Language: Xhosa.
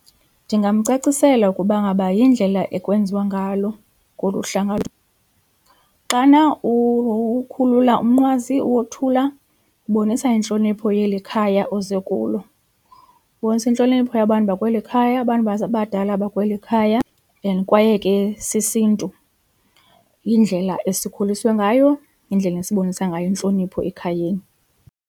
Ndingamcacisela ukuba ngaba yindlela ekwenziwa ngalo ngolu hlanga. Xana ukhulula umnqwazi uwothula ubonisa intlonipho yeli khaya oze kulo, ubonisa intlonipho yabantu bakweli khaya abantu abadala bakweli khaya and kwaye ke sisiNtu yindlela esikhuliswe ngayo, yindlela esibonisa ngayo intlonipho ekhayeni.